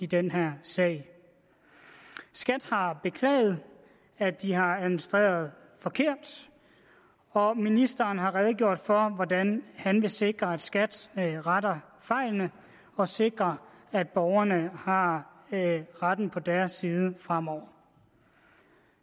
den her sag skat har beklaget at de har administreret forkert og ministeren har redegjort for hvordan han vil sikre at skat retter fejlen og sikre at borgerne har retten på deres side fremover